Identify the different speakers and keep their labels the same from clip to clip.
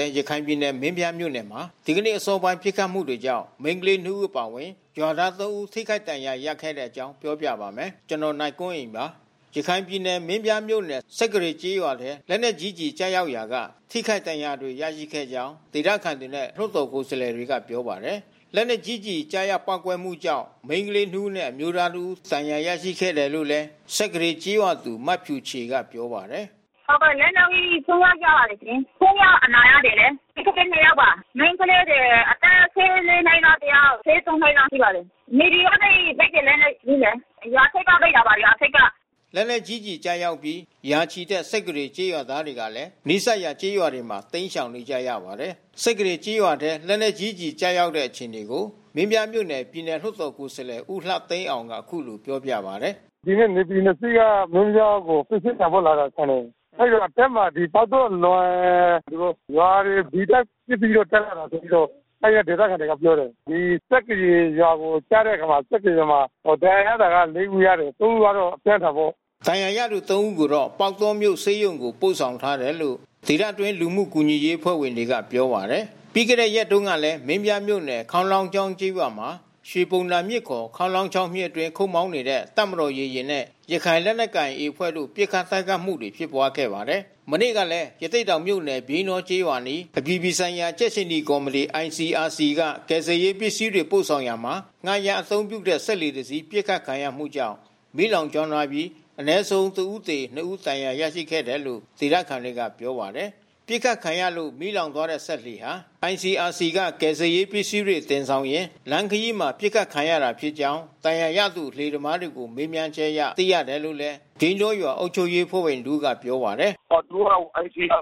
Speaker 1: ဲ ရခိုင်ပြည်နယ် မင်းပြားမြို့နယ်မှာ ဒီနေ့အစောပိုင်း ပစ်ခတ်မှုတွေကြာင့် မိန်းကလေး နှစ် ဦး အပါအဝင် ရွာသား သုံး ဦး ထိခိုက်ဒဏ်ရာ ရခဲ့တဲ့အကြောင်းကို ဗွီအိုအေမြန်မာပိုင်း သတင်းထောက် ကိုနိုင်ကွန်းအိန်က ပြောပြပေးပါမယ်။ ရခိုင်ပြည်နယ်မင်းပြားမြို့နယ် စက္ကရေကျေးရွာထဲ လက်နက်ကြီး ကျည်ကျရောက်ရာက ထိခိုက်ဒဏ်ရာတွေ ရရှိခဲ့တဲ့အကြောင်း ဒေသခံတွေနဲ့ လွှတ်တော် ကိုယ်စားလှယ်တွေက ပြောပါတယ်။ လက်နက်ကြီးကျည် ကျရောက်ပေါက်ကွဲမှုကြောင့် မိန်းကလေးနှစ်ဦးနဲ့ အမျိုးသား တဦးဒဏ်ရာ ရရှိခဲ့တယ်လို့လည်း စက္ကရေကျေးရွာသူ မဖြူချေကပြောပါတယ်။ “ဟုတ်ကဲ့ လက်နက်ကြီး ဆိုးဆိုးရွားရွား ကျပါတယ်ရှင်။ သုံးယောက်အနာရနေတယ်။ မိန်းကလေး နှစ်ယောက်ပါ။ မိန်းကလေးတွေ အသက် ၁၄ နှစ်ကတယောက် ၁၃ နှစ်လောက်ရှိပါတယ်။ NAVY ကနေ စက်သေနတ်နဲ့ပစ်တယ်။ ရွာထိပ်က ပစ်တာပါ။ ရွာထိပ်က။” လက်နက်ကြီး ကျည်ကျရောက်အပြီး ရာချီတဲ့ စက္ကရေကျေးရွာသားတွေကလည်း နီးစပ်ရာကျေးရွာတွေမှာ တိမ်းရှောင်နေကြရပါတယ်။ စက္ကရေကျေးရွာထဲ လက်နက် ကြီးကျည်ကျတဲ့ အခြေအနေကို မင်းပြားမြို့နယ် ပြည်နယ်လွှတ်တော် ကိုယ်စားလှယ် ဦးလှသိန်းအောင်က အခုလိုပြောပါတယ်။ “ဒီနေ့ NAVY နှစ်စီးက မင်းပြားကိုပစ္စည်းတင်ဖို့လာတာထင်တယ်။ အဲဒီလိုအဆင်းမှာ ပေါက်တောအလွန် သူတို့ရွာတွေ ဒီအတိုင်းပစ်ပြီး တက်လာတယ်ဆိုပြီးတော့ အဲဒီက ဒေသခံတွေကပြောတယ်။ ဒီစက္ကရေရွာကိုကျတဲ့အခါမှာ စက္ကရရွာမှာ ဒဏ်ရာရတာ လေး ဦးရတယ်။ သုံး ဦးကတော့အပြင်းထန်ပေါ့။” ဒဏ်ရာရသူ သုံး ဦးကိုတော့ပေါက်တောမြို့ဆေးရုံကို ပို့ဆောင်ထားတယ်လို့ ဒေသတွင်းလူမှုကူညီရေးအဖွဲ့ဝင်တွေကပြောပါတယ်။ ပြီးခဲ့တဲ့ရက်တွေတုန်းကလည်း မင်းပြားမြို့နယ် ခေါင်းလောင်းချောင်းကျေးရွာမှာ ရွှေဘုံသာမြစ် (ခ) ခေါင်းလောင်းချောင်း မြစ်အတွင်း ခုတ်မောင်းနေတဲ့ တပ်မတော်ရေယာဉ်နဲ့ ရခိုင်လက်နက်ကိုင် AA အဖွဲ့တို့ ပစ်ခတ်တိုက်ခိုက်မှုတွေ ဖြစ်ပွါးခဲ့ပါတယ်။ မနေ့ကလည်း ရသေ့တောင်မြို့နယ် ပြိန်းတောကျေးရွာအနီး အပြည်ပြည်ဆိုင်ရာ ကြက်ခြေနီကော်မတီ (ICRC) က ကယ်ဆယ်ရေးပစ္စည်းတွေ ပို့ဆောင်ရာမှာ ငှားရမ်းအသုံးပြုတဲ့ စက်လှေတစင်း ပစ်ခတ်ခံရမှုကြောင့် မီးလောင်ကျွမ်းသွားပြီး အနည်းဆုံး တဦးသေ၊ နှစ် ယောက် ဒဏ်ရာရခဲ့တယ်လို့ ဒေသခံတွေကပြောပါတယ်။ ပစ်ခတ်ခံရလို့ မီးလောင်သွားတဲ့စက်လှေဟာ ICRC က ကယ်ဆယ်ရေးပစ္စည်းတွေ တင်ဆောင်လာရင်း လမ်းခရီးမှာ ပစ်ခတ်ခံခဲ့ရတာဖြစ်ကြောင်း ဒဏ်ရာရသူလှေသမားတွေကို မေးမြန်းချက်အရ သိရတယ်လို့လည်း ပြိန်းတောရွာအုပ်ချုပ်ရေးအဖွဲ့ဝင်တဦးက ပြောပါတယ်။ “သူတို့က ICRC က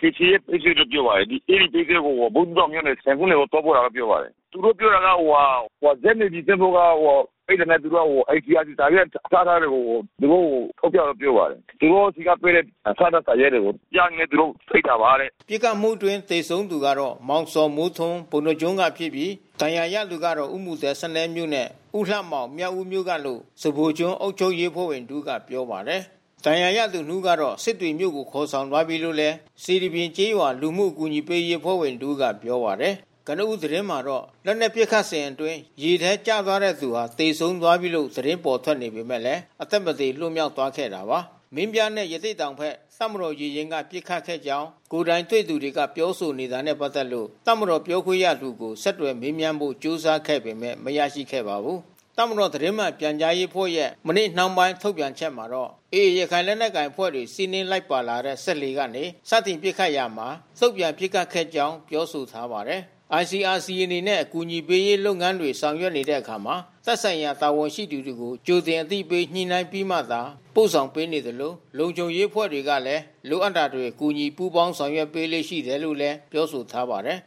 Speaker 1: ကယ်ဆယ်ရေးပစ္စည်းလို့ ပြောပါတယ်။ အဲဒီပစ္စည်းကို ဘူးသီးတောင်မြို့နယ် ဆင်ခုန်းတိုင်ကို သွားပို့တယ်လို့ ပြောပါတယ်။ သူတို့ ပြောတာကဇက် NAVY ကတွေ့တာနဲ့က သူတို့က ICRC စာရွက် အထောက်ထားတွေကို သူတို့ကို ထုတ်ပြတယ်လို့ပြောပါတယ်။ သူတို့ဆီကပေးတဲ့ အထောက်အထား စာရွက်တွေ။ ပြတာနဲ့ သူတို့ ပစ်တာပါတဲ့။" ပစ်ခတ်မှုအတွင်း သေဆုံးသူကတော့ မောင်ဇော်မိုးထွန်း ပုဏ္ဏားကျွန်းကဖြစ်ပြီး ဒဏ်ရာရသူကတော့ ဦးမူသဲ စနဲမြို့နဲ့ ဦးလှမောင် မြောက်ဦး မြို့နယ်ကလို့ စဖိုကျွန်းအုပ်ချုပ်ရေးအဖွဲ့ဝင်တဦးကဆိုပါတယ်။ ဒဏ်ရာရသူနှစ်ဦးကတော့ စစ်တွေမြို့ကို ခေါ်ဆောင်သွားပြီးလို့ စေတီပြင်ကျေးရွာလူမှုကူညီရေးအဖွဲ့ဝင် တဦးက ပြောပါတယ်။ ကနဦးသတင်းမှာတော့ လက်နက်ပစ်ခတ်နေစဉ်အတွင်း ရေထဲကျသွားတဲ့သူဟာ သေဆုံးပြီးလို့သတင်းပေါ်ထွက်ပေမဲ့ အသက်မသေ လွတ်မြောက်သွားခဲ့တာပါ။ မင်းပြားနဲ့ ရသေ့တောင်ဘက် တပ်မတော်ရေယာဉ်က ပစ်ခတ်ခဲ့ကြောင်း ကိုယ်တိုင်တွေ့သူတွေက ပြောဆိုနေတာနဲ့ ပတ်သက်လို့ တပ်မတော်ပြောခွင့်ရသူကို ဆက်သွယ်မေးမြန်းဖို့ ကြိုးစားခဲ့ပေမဲ့ မရခဲ့ပါဘူး။ တပ်မတော် သတင်းမှန်ပြန်ကြားရေးအဖွဲ့ရဲ့ မနေ့နှောင်းပိုင်း ထုတ်ပြန်ချက်မှာတော့ AA ရခိုင်လက်နက်ကိုင်အဖွဲ့တွေ စီးနင်းလိုက်ပါလာတဲ့ စက်လှေကနေ စတင်ပစ်ခတ်ရာက တုံ့ပြန်ပစ်ခတ်ခဲ့ကြောင်း ပြောဆိုထားပါတယ်။ ICRC အနေနဲ့ အကူအညီပေးရေး လုပ်ငန်းတွေ ဆောင်ရွက်တဲ့အခါမှာ သက်ဆိုင်ရာ တာဝန်ရှိသူတွေကို ကြိုတင် အသိပေးညှိနှိုင်းပြီးမှသာ ပို့ဆောင်ပေးနေသလို လုံခြုံရေးအဖွဲ့တွေကလည်း လိုအပ်တာတွေ ကူညီ ပူးပေါင်းဆောင်ရွက်ပေးလေ့ ရှိတယ်လို့လည်း ပြောဆိုထားပါတယ်။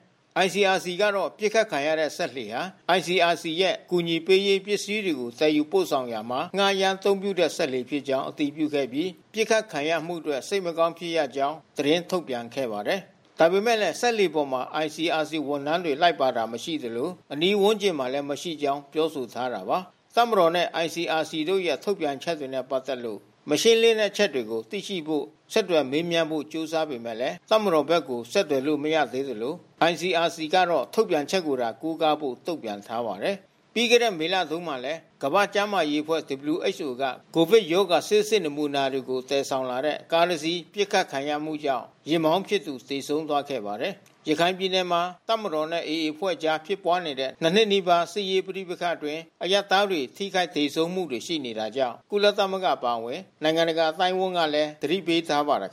Speaker 1: ICRC ကတော့ ပစ်ခတ်ခံရတဲ့ စက်လှေဟာ ICRC ရဲ့ အကူအညီပေးရေး ပစ္စည်းတွေကို သယ်ယူပို့ဆောင်ရာမှာ ငှားရမ်းအသုံးပြုတဲ့ စက်လှေဖြစ်ကြောင်း အတည်ပြုခဲ့ပြီး ပစ်ခတ်ခံရမှုအတွက် စိတ်မကောင်းဖြစ်ရကြောင်း သတင်းထုတ်ပြန်ခဲ့ပါတယ်။ ဒါပေမဲ့လည်း စက်လှေပေါ်မှာ ICRC ဝန်ထမ်းတွေ လိုက်ပါတာ မရှိသလို၊ အနီးဝန်းကျင်မှာ မရှိကြောင်းလည်း ပြောဆိုထားတာပါ။ တပ်မတော်နဲ့ ICRC တို့ရဲ့ ထုတ်ပြန်ချက်တွေနဲ့ ပတ်သက်လို့ မရှင်းလင်းတဲ့ အချက်အလက်တွေကို သိနိုင်ဖို့ ဆက်သွယ်မေးမြန်းဖို့ ကြိုးစားပေမဲ့ တပ်မတော်ဘက်ကို ဆက်သွယ်လို့ မရသေးသလို ICRC ကတော့ ထုတ်ပြန်ချက်ကိုသာ ကိုးကားဖို့ တုန့်ပြန်ထားပါတယ်။ ပြီးခဲ့တဲ့ ဧပြီလမှာတုန်းကလည်း ကမ္ဘာ့ကျန်းမာရေးအဖွဲ့ (WHO) က ကိုဗစ်ရောဂါဆေးစစ် နမူနာတွေကို သယ်ဆောင်လာတဲ့ ကားတစင်း ပစ်ခတ်ခံရမှုကြောင့် ယာဉ်မောင်းဖြစ်သူ သေဆုံးခဲ့ဖူးပါတယ်။ ရခိုင်ပြည်နယ်မှာ တပ်မတော်နဲ့ AA အဖွဲ့တို့ကြား ဖြစ်ပွားနေတဲ့ ၂ နှစ်နီးပါးကြာ စစ်ရေးပဋိပက္ခအတွင်း အရပ်သား တွေ ထိခိုက်သေဆုံးမှုတွေ ရှိနေတာကြောင့် ကုလသမဂ္ဂ အပါအဝင် နိုင်ငံတကာအသိုင်းအဝန်းကလည်း သတိပေးထားပါတယ်။